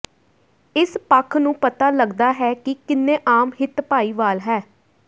ਇਸ ਪੱਖ ਨੂੰ ਪਤਾ ਲੱਗਦਾ ਹੈ ਕਿ ਕਿੰਨੇ ਆਮ ਹਿੱਤ ਭਾਈਵਾਲ ਹੈ